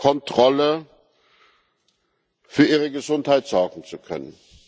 Kontrolle für ihre Gesundheit sorgen zu können.